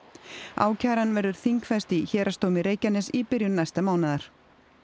ákæran verður þingfest í Héraðsdómi Reykjaness í byrjun næsta mánaðar